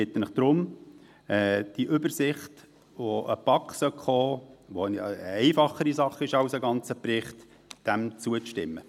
Ich bitte Sie deshalb, dieser Übersicht, die an die BaK gelangen sollte und die eine einfachere Sache ist als ein ganzer Bericht, zuzustimmen.